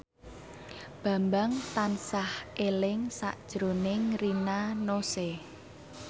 Bambang tansah eling sakjroning Rina Nose